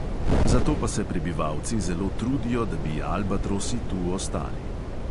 Zato pa se prebivalci zelo trudijo, da bi albatrosi tu ostali.